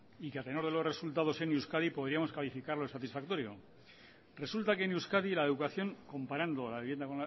y que a tenor de los resultados en euskadi podríamos calificarlo de satisfactorio resulta que en euskadi la educación comparando la vivienda